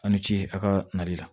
Aw ni ce a' ka nali la